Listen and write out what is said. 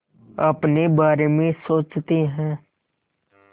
अपने बारे में सोचते हैं